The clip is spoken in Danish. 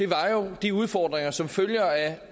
var jo de udfordringer som følger af